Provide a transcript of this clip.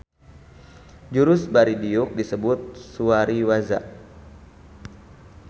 Jurus bari diuk disebut suwari-waza